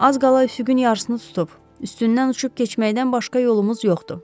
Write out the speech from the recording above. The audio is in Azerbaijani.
Az qala üfüqün yarısını tutub, üstündən uçub keçməkdən başqa yolumuz yoxdur.